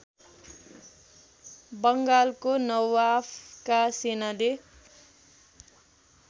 बङ्गालको नवाफका सेनाले